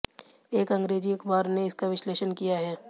एक अंग्रेजी अखबार ने इसका विश्लेषण किया है